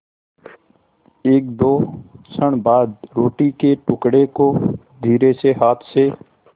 एकदो क्षण बाद रोटी के टुकड़े को धीरेसे हाथ से